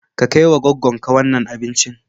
Ka kai wa goggon ka wannan abincin.